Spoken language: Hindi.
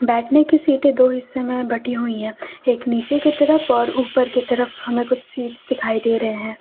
बैठने की सीटें दो हिस्सों में बंटी हुई हैं एक नीचे की तरफ और उपर की तरफ हमें कुछ सीट्स दिखाई दे रहे हैं।